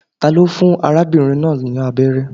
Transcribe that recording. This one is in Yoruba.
Ta ló fún arábìnrin náà ni abẹ́rẹ́?